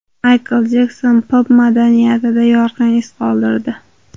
Maykl Jekson pop madaniyatida yorqin iz qoldirdi.